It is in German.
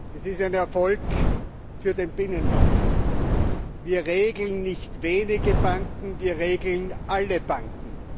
Es ist ein Erfolg für den Binnenmarkt. Wir regeln nicht wenige Banken, wir regeln alle Banken.